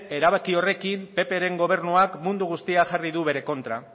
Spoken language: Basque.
erabaki horrekin ppren gobernuak mundu guztia jarri du bere kontra